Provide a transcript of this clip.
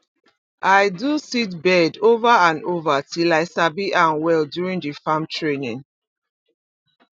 i do seedbed over and over till i sabi am well during the farm training